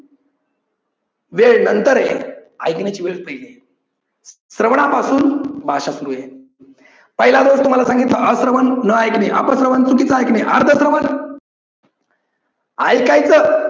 वेळ नंतर आहे. ऐकण्याची वेळ पाहिली श्रवणापासून भाषा सुरू आहे. पहिला दोष तुम्हाला सांगितलं अश्रवन न ऐकणे, अपश्रवन चुकीच ऐकणे, अर्धश्रवण ऐकायचं